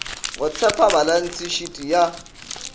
go tshepa balantshe shiti ya